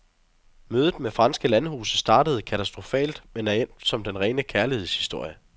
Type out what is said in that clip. Mødet med franske landhuse startede katastrofalt, men er endt som den rene kærlighedshistorie.